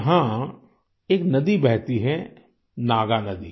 यहाँ एक नदी बहती है नागानधी